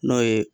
N'o ye